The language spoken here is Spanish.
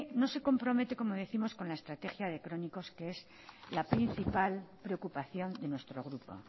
no se compromete con la estrategia de crónicos que es la principal preocupación de nuestro grupo